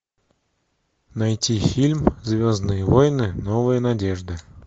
найти фильм звездные войны новая надежда